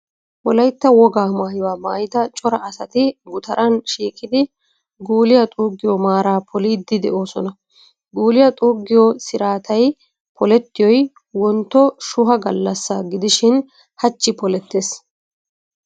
Wolaytta wogaa maayuwaa maayida cora asati gutaran shiiqidi guuliyaa xuuggiyoo maaraa poliiddi de'oosona. Guuliyaa xuuggiyoo siraatay polettiyoy, Wontto shuha gallassa gidishin hachchi polettees.